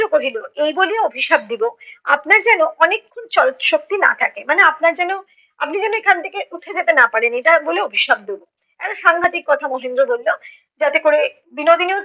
কহিল এই বলিয়া অভিশাপ দিব, আপনার যেন অনেক ক্ষণ চলৎশক্তি না থাকে। মানে আপনার যেন আপনি যেন এখান থেকে উঠে যেতে না পারেন এটা বলে অভিশাপ দেব। একটা সাংঘাতিক কথা মহেন্দ্র বলল যাতে করে বিনোদিনী